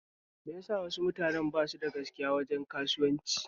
Me yasa wasu mutane basu da gaskiya wajen kasuwan ci?